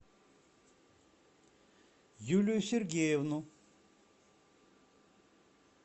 юлию сергеевну